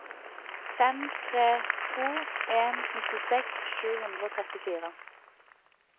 fem tre to en nittiseks sju hundre og trettifire